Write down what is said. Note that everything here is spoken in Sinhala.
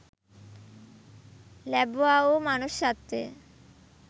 ලැබුවා වූ මනුෂ්‍යත්වය